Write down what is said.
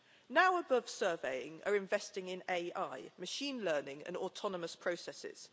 Now Above Surveying are investing in AI machine learning and autonomous processes.